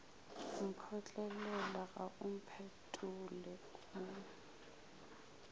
mphotlela ga o mphetole o